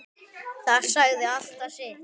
Það sagði alltaf sitt.